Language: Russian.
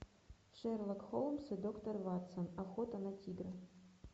шерлок холмс и доктор ватсон охота на тигра